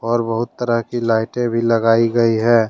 और बहुत तरह की लाइटे भी लगाई गई है।